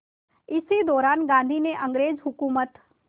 इसी दौरान गांधी ने अंग्रेज़ हुकूमत